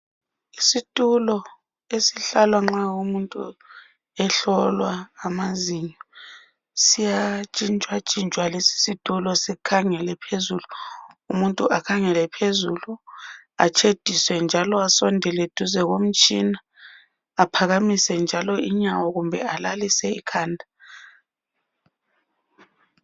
Isithulo esihlalwa nxa kumuntu ehlolwa amazinyo. Siyatshinshwatshinshwa lesi isithulo sikhangele phezulu umuntu akhangele phezulu atshediswe njalo asondele duze komtshina aphakamise njalo inyawo kumbe alalise ikhanda.